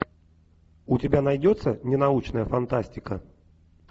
у тебя найдется ненаучная фантастика